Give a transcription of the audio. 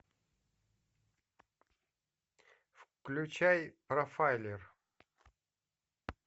включай профайлер